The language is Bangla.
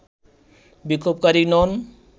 বিক্ষোভকারী নন